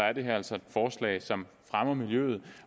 er det her altså et forslag som fremmer miljøet